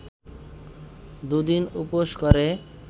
দু’দিন উপোস করে